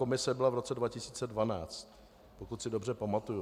Komise byla v roce 2012, pokud si dobře pamatuji.